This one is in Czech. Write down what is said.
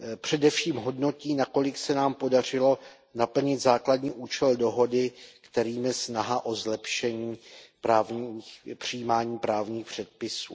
Především hodnotí, nakolik se nám podařilo naplnit základní účel dohody, kterým je snaha o zlepšení přijímání právních předpisů.